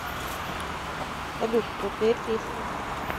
салют крутые песни